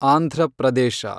Andhra Pradesh